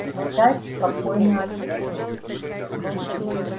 секретарь спокойно ответил